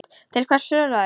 Til hvers þarftu hann?